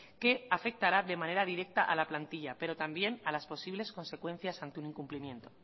que afectará de manera directa a la plantilla pero también a las posibles consecuencias ante un incumplimiento